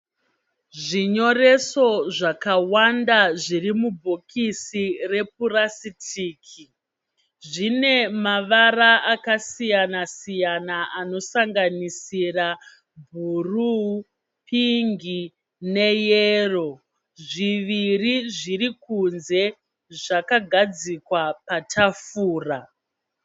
Zvinyoreso zvakawanda zviri mubhokisi repurasitiki. Zvinemavara akasiyana-siyana anosanganisira bhuruu, pingi neyero. Zviviri zvirikunze, zvakagadzikwa patafura.